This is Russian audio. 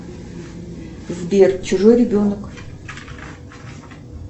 сбер чужой ребенок